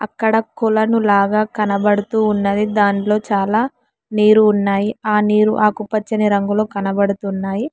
అక్కడ కొలను లావా కనబడుతూ ఉన్నది దాంట్లో చాలా నీరు ఉన్నాయి ఆ నీరు ఆకుపచ్చని రంగులో కనపడుతున్నాయి.